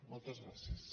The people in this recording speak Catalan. moltes gràcies